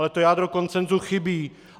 Ale to jádro konsenzu chybí.